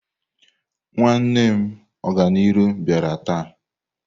Nwanne m Oganiru biara taa.